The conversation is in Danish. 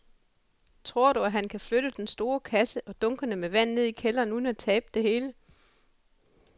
Tror du, at han kan flytte den store kasse og dunkene med vand ned i kælderen uden at tabe det hele?